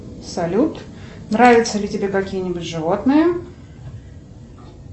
салют нравятся ли тебе какие нибудь животные